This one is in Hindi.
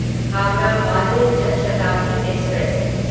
हावड़ा बारबिल जान शताब्दी एक्सप्रेस